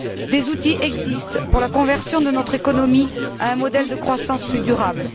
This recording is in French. Des outils existent pour la conversion de notre économie à un modèle de croissance plus durable.